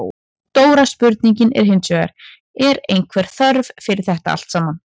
Stóra spurningin er hinsvegar, er einhver þörf fyrir þetta allt saman?